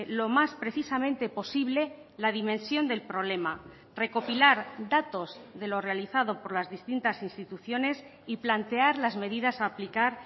lo más precisamente posible la dimensión del problema recopilar datos de lo realizado por las distintas instituciones y plantear las medidas a aplicar